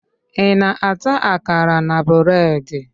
Ị na-ata akara na breedi?